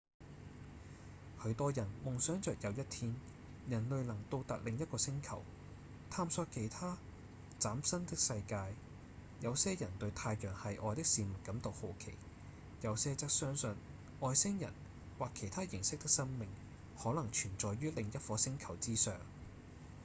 許多人夢想著有一天人類能到達另一個星球探索其他嶄新的世界；有些人對太陽系外的事物感到好奇；有些則相信外星人或其他形式的生命可能存在於另一顆星球之上